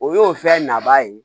O y'o fɛn na ba ye